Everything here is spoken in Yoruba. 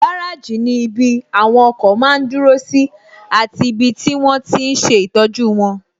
Gáràjì ní ibi àwọn ọkọ̀ máa n dúró sí àti ibi tí wọ́n tíi n ṣe ìtọ́jú wọn